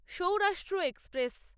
Saurashtra express